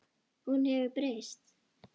Hún hefur breyst.